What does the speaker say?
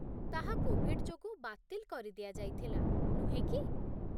ତାହା କୋଭିଡ଼ ଯୋଗୁଁ ବାତିଲ କରିଦିଆଯାଇଥିଲା, ନୁହେଁ କି?